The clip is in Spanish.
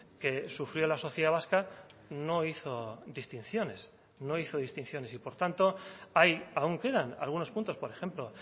que sufrió la sociedad vasca no hizo distinciones no hizo distinciones y por tanto hay aún quedan algunos puntos por ejemplo